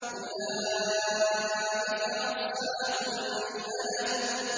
أُولَٰئِكَ أَصْحَابُ الْمَيْمَنَةِ